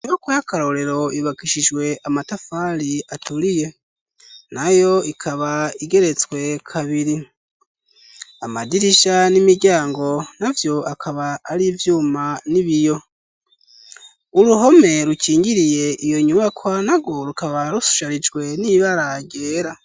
Inyubakwa y'akarorero yubakishijwe amatafari aturiye. Nayo ikaba igeretswe kabiri. Amadirisha n'imiryango na vyo akaba ari ivyuma n'ibiyo. Uruhome rukingiriye iyo nyubakwa narwo rukaba rusharijwe n'ibara ryera.